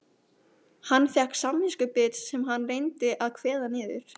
Hann fékk samviskubit sem hann reyndi að kveða niður.